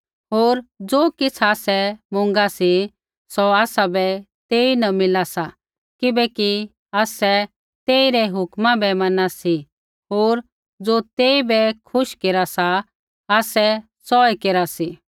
होर ज़ो किछ़ आसै मुँगा सी सौ आसाबै तेईन मिला सा किबैकि आसै तेइरै हुक्मा बै मना सी होर ज़ो तेइबै खुश केरा सा आसै सौऐ केरा सी